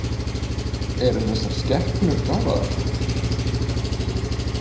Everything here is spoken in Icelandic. Eru þessar skepnur gáfaðar?